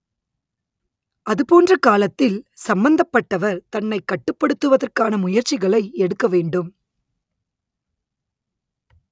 அதுபோன்ற காலத்தில் சம்பந்தப்பட்டவர் தன்னை கட்டுப்படுத்துவதற்கான முயற்சிகளை எடுக்க வேண்டும்